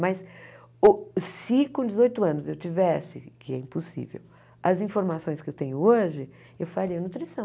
Mas o se com dezoito anos eu tivesse, que é impossível, as informações que eu tenho hoje, eu faria nutrição.